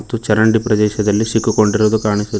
ಮತ್ತು ಚರಂಡಿ ಪ್ರದೇಶದಲ್ಲಿ ಸಿಕ್ಕಕೊಂಡಿರುವುದು ಕಾಣಿಸುತಿ--